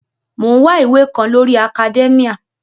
Mò ń wá ìwé kan lórii akadẹ́míà